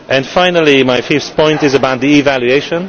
Finally, my fifth point is about the evaluation.